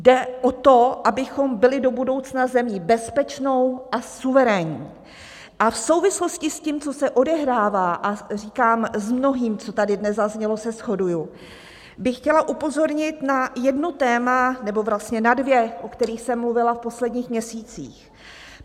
Jde o to, abychom byli do budoucna zemí bezpečnou a suverénní a v souvislosti s tím, co se odehrává, a říkám, s mnohým, co tady dnes zaznělo, se shoduji, bych chtěla upozornit na jedno téma - nebo vlastně na dvě - o kterých jsem mluvila v posledních měsících.